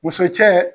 Muso cɛ